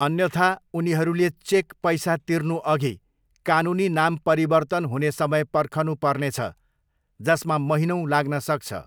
अन्यथा, उनीहरूले चेक पैसा तिर्नुअघि कानुनी नाम परिवर्तन हुने समय पर्खनु पर्नेछ, जसमा महिनौँ लाग्न सक्छ।